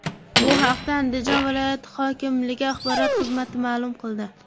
Bu haqda Andijon viloyati hokimligi axborot xizmati maʼlum qildi .